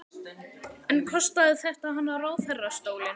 En kostaði þetta hana ráðherrastólinn?